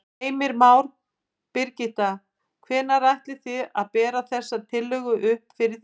Heimir Már: Birgitta, hvenær ætlið þið að bera þessa tillögu upp fyrir þinginu?